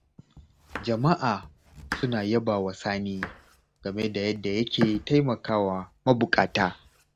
Jama'a suna yabawa Sani, game da yadda yake taimakawa mabuƙata.